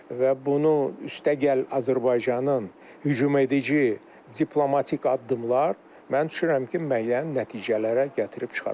Və bunu üstəgəl Azərbaycanın hücum edici, diplomatik addımlar, mən düşünürəm ki, müəyyən nəticələrə gətirib çıxara bilər.